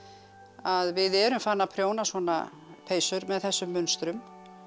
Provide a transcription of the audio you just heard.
að við erum farin að prjóna svona peysur með þessum munstrum